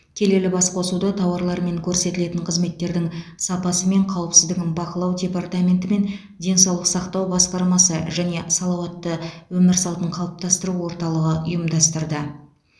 келелі басқосуды тауарлар мен көрсетілетін қызметтердің сапасы мен қауіпсіздігін бақылау департаментенті мен денсаулық сақтау басқармасы және салауатты өмір салтын қалыптастыру орталығы ұйымдастырды